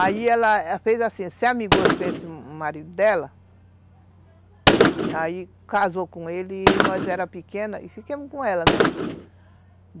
Aí ela fez assim, se amigou com esse marido dela, aí casou com ele, e nós era pequena, e fiquemos com ela, né?